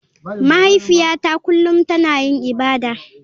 Mahaifiyata kullum tana yin ibada.